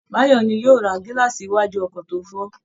Báyọ̀ ni yóò lọ ra gílààsì iwájú ọkọ̀ tó fọ́